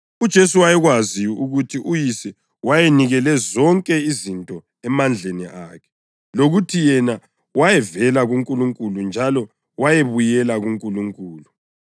UJesu wayekwazi ukuthi uYise wayenikele zonke izinto emandleni akhe, lokuthi yena wayevela kuNkulunkulu njalo wayebuyela kuNkulunkulu,